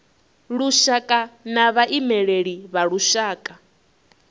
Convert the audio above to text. lushaka na vhaimeleli vha lushaka